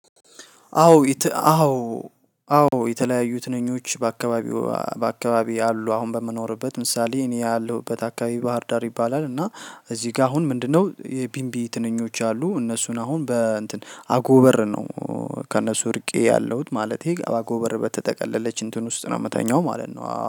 አዎ። አዎ አዎ የተለያዩ ትንኞች በአካባቢው በአካባቢዬ አሉ አሁን በምኖርበት ምሳሌ እኔ ያለሁበት አካባቢ ባህር ዳር ይባላል። እና እዚህ ጋር አሁን ምንድነው? የቢንቢ ትንኞች አሉ እነሱን አሁን በእንትን አጎበር ነው። ከእነሱ እርቄ ያለሁት ማለቴ አጎበር በተጠቀለለች እንትን ውስጥ ነው ምተኛው ማለት ነው